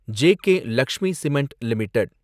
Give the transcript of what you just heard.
JK Lakshmi cement LTD